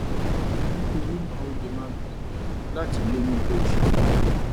nítorí náà o lè máa gbìyànjú láti lóyún bó o ṣe fẹ́